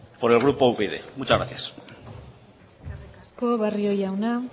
por el grupo upyd muchas gracias eskerrik asko barrio jauna